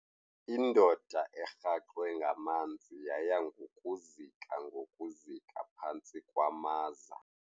Indoda erhaxwe ngamanzi yaya ngokuzika ngokuzika phantsi kwamaza.